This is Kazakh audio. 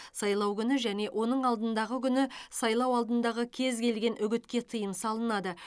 сайлау күні және оның алдындағы күні сайлау алдындағы кез келген үгітке тыйым салынады